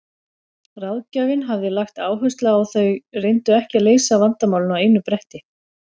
Ráðgjafinn hafði lagt áherslu á að þau reyndu ekki að leysa vandamálin á einu bretti.